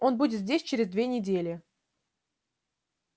он будет здесь через две недели